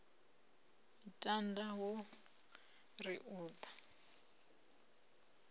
miṱada ho ri u ḓa